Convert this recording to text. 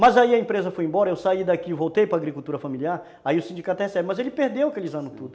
Mas aí a empresa foi embora, eu saí daqui e voltei para agricultura familiar, aí o sindicato até recebe, mas ele perdeu aqueles anos tudo.